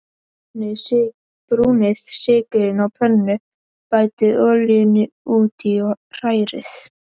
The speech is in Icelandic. Brúnið sykurinn á pönnu, bætið olíunni út í og hrærið.